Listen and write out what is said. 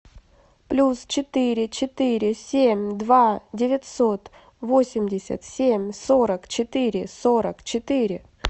плюс четыре четыре семь два девятьсот восемьдесят семь сорок четыре сорок четыре